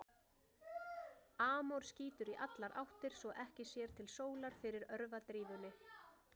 Amor skýtur í allar áttir svo að ekki sér til sólar fyrir örvadrífunni.